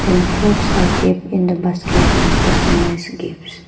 And fruits are kept in the basket and customised gifts.